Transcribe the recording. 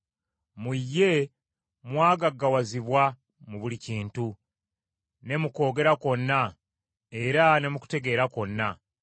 mu ye mwagaggawazibwa mu buli kintu, ne mu kwogera kwonna, era ne mu kutegeera kwonna,